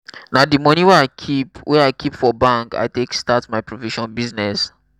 na di moni wey i keep wey i keep for bank i take start my provision business.